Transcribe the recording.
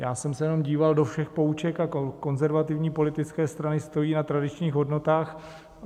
Já jsem se jenom díval do všech pouček a konzervativní politické strany stojí na tradičních hodnotách.